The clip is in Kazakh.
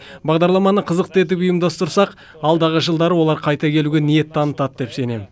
бағдарламаны қызықты етіп ұйымдастырсақ алдағы жылдары олар қайта келуге ниет танытады деп сенем